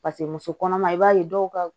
Paseke muso kɔnɔma i b'a ye dɔw ka